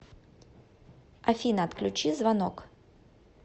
афина отключи звонок